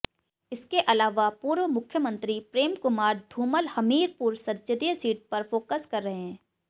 इसके अलावा पूर्व मुख्यमंत्री प्रेम कुमार धूमल हमीरपुर संसदीय सीट पर फोकस कर रहे हैं